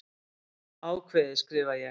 Ákveðið, skrifa ég.